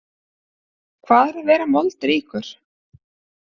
Hvað er að vera moldríkur?